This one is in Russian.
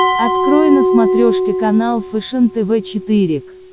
открой на смотрешке канал фэшен тв четыре к